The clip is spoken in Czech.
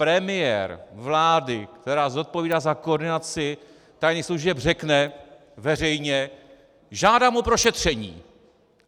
Premiér vlády, která zodpovídá za koordinaci tajných služeb, řekne veřejně "žádám o prošetření"!